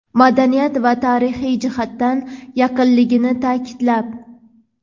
madaniy va tarixiy jihatdan yaqinligini ta’kidlab.